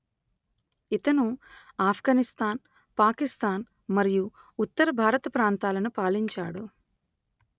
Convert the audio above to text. ఇతను ఆఫ్ఘనిస్తాన్ పాకిస్తాన్ మరియు ఉత్తర భారత ప్రాంతాలను పాలించాడు